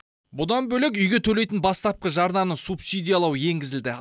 бұдан бөлек үйге төлейтін бастапқы жарнаны субсидиялау енгізілді